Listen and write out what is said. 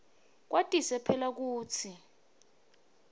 kwatise phela kutsi